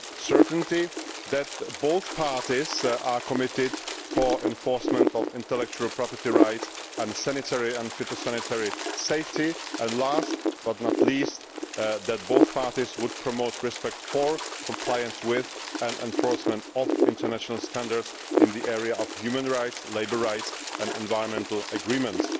certainty, that both parties are committed to the enforcement of intellectual property rights and sanitary and phytosanitary safety, and last but not least that both parties would promote respect for, compliance with, and enforcement of international standards in the area of human rights, labour rights and environmental agreements.